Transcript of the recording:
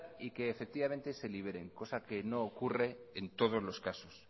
y que efectivamente se libere cosa que no ocurre en todos los casos